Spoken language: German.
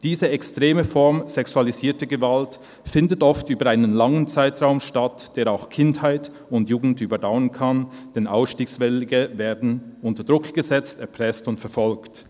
Diese extreme Form sexualisierter Gewalt findet oft über einen langen Zeitraum statt, der auch Kindheit und Jugend überdauern kann, denn Ausstiegswillige werden unter Druck gesetzt, erpresst und verfolgt.